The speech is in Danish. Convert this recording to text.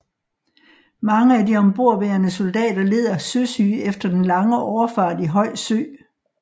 Mange af de ombordværende soldater led af søsyge efter den lange overfart i høj sø